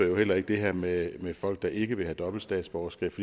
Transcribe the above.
jo heller ikke det her med folk der ikke vil have dobbelt statsborgerskab